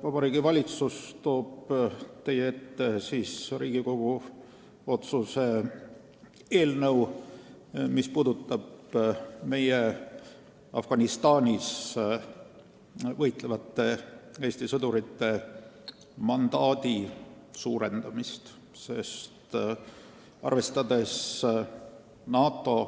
Vabariigi Valitsus toob teie ette Riigikogu otsuse eelnõu meie Afganistanis võitlevate Eesti sõdurite mandaadi suurendamiseks, arvestades NATO,